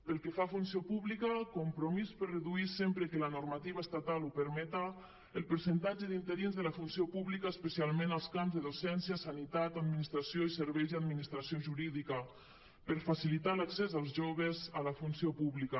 pel que fa a funció pública compromís per reduir sempre que la normativa estatal ho permete el percentatge d’interins de la funció pública especialment als camps de docència sanitat administració i serveis i administració jurídica per facilitar l’accés als joves a la funció pública